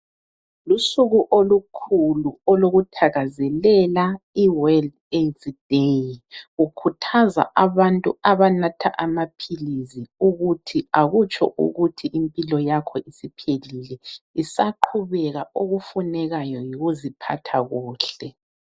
Lusuku olukhulu olokuthakazelela i-World AIDS Day. Lukhuthaza abantu abanatha amaphilisi ukuthi akutsho ukuthi impilo yakho isiphelile. Isaqhubeka okufunekayo yikuziphatha kuhle.